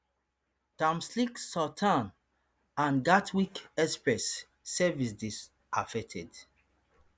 thameslink southern and gatwick express services dey affected